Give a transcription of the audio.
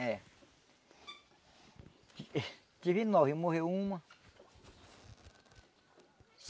É. Tive nove, morreu uma.